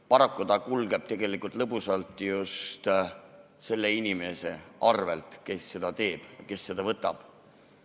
Paraku kulgeb see lõbusalt just selle inimese arvel, kes seda alkoholi võtab.